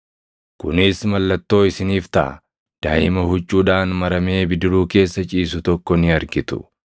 Kunis mallattoo isiniif taʼa: Daaʼima huccuudhaan maramee bidiruu keessa ciisu tokko ni argitu.”